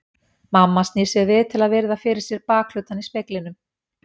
Mamma snýr sér við til að virða fyrir sér bakhlutann í speglinum.